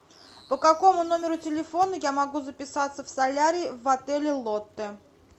по какому номеру телефона я могу записаться в солярий в отеле лотте